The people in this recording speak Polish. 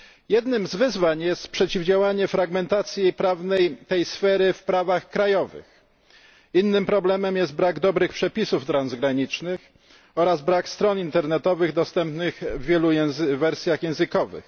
Jednym z wyzwań jest przeciwdziałanie fragmentacji prawnej tej sfery w prawach krajowych, innym problemem jest brak dobrych przepisów transgranicznych oraz brak stron internetowych dostępnych w wielu wersjach językowych.